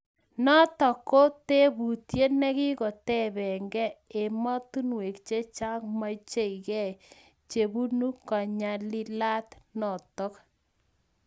Notok ko tebutiet nekikotepee gei emotunweek chechang maichigei chebunee kanylilaat notok